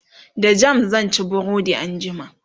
da jam sanci burodi anjima